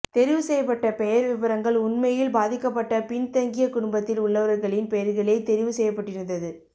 தெரிவு செய்யப்பட்ட பெயர் விபரங்கள் உண்மையில் பாதிக்கப்பட்ட பின்தங்கிய குடும்பத்தில் உள்ளவர்களின் பெயர்களே தெரிவு செய்யப்பட்டிருந்தது